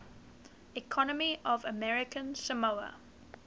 economy of american samoa